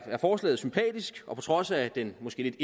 er forslaget sympatisk og på trods af den måske lidt